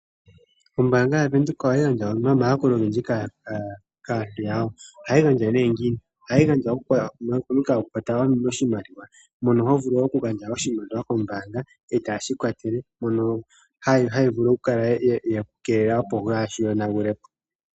Ombaanga yaVenduka ohayi gandja omayakulo ogendji kaantu yawo. Ohayi gandja ngiini? Ohayi gandja momukalo ya kwatela oshimaliwa. Mono ho gandja oshimaliwa kombaanga e taye shi ku kwatele, mono haya vulu oku ku keelela, opo kuushi yonagule po.